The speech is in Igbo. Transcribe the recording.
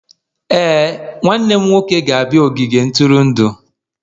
Ee, nwanne m nwoke ga-abịa n'ogige ntụrụndụ